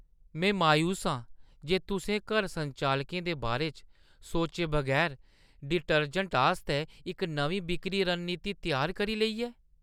मैं मायूस आं जे तुसें घर संचालकें दे बारे च सोचे बगैर डिटर्जैंट आस्तै इक नमीं बिक्करी रणनीति त्यार करी लेई ऐ।